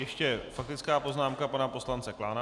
Ještě faktická poznámka pana poslance Klána.